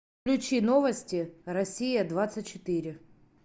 включи новости россия двадцать четыре